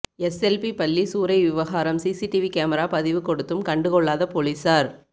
SLP பள்ளி சூறை விவகாரம் சிசிடிவி கேமரா பதிவு ெகாடுத்தும் கண்டு கொள்ளாத போலீசார்